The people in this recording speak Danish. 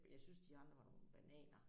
Jeg syntes de andre var nogle bananaer